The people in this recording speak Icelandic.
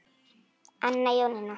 Anna Jónína.